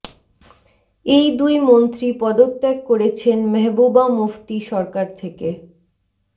এই দুই মন্ত্রী পদত্যাগ করেছেন মেহবুবা মুফতি সরকার থেকে